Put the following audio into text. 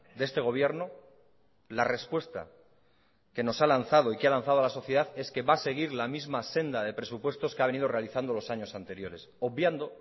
de este gobierno la respuesta que nos ha lanzado y que ha lanzado a la sociedad es que va a seguir la misma senda de presupuestos que ha venido realizando los años anteriores obviando